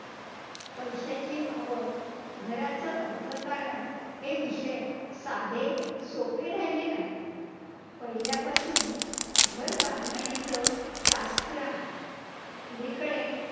पैशाची आवक, घराचं अर्थकारण हे विषय साधे सोपे राहिले नाहीत, पहिल्यापासून घर बांधणीचं शास्त्र आहे, अलीकडे